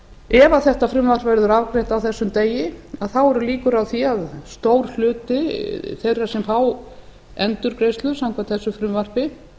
ef þetta frumvarp verður afgreitt á þessum degi þá eru líkur á því að stór hluti þeirra sem fá endurgreiðslu samkvæmt þessu frumvarpi